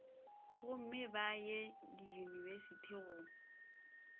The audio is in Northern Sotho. gomme ba ye diyunibesithi go